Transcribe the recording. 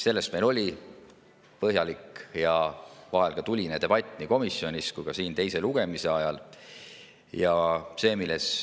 Selle üle oli meil põhjalik ja vahel ka tuline debatt nii komisjonis kui ka siin teise lugemise ajal.